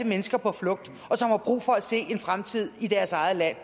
mennesker på flugt som har brug for at se en fremtid i deres eget land